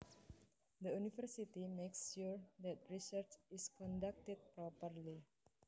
The university makes sure that research is conducted properly